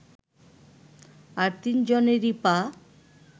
আর তিনজনেরই পা